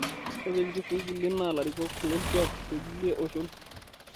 Ore lichifui kulie naa larikok lolkuak te kulie oshon